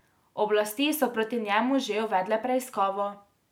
Oblasti so proti njemu že uvedle preiskavo.